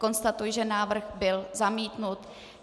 Konstatuji, že návrh byl zamítnut.